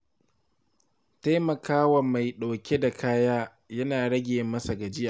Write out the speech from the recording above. Taimaka wa mai ɗauke da kaya yana rage masa gajiya.